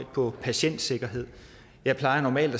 på patientsikkerhed jeg plejer normalt